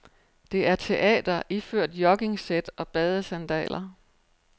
Det er teater iført joggingsæt og badesandaler.